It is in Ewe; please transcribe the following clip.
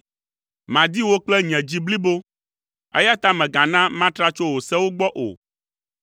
Madi wò kple nye dzi blibo, eya ta mègana matra tso wò sewo gbɔ o.